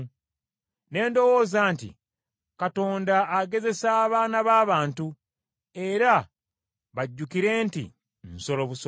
Ne ndowooza nti, “Katonda agezesa abaana b’abantu era bajjukire nti nsolo busolo.